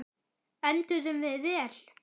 Enduðum við vel?